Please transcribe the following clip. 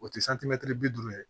O te bi duuru ye